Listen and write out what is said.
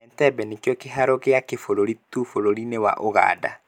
Entebbe nĩkĩo kĩharo gĩa kibũrũri tu bũrũri-inĩ wa ũganda